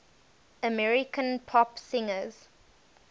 american pop singers